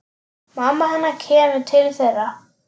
Mamma hennar kemur til þeirra.